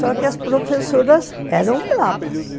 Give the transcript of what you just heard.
Só que as professoras eram bravas.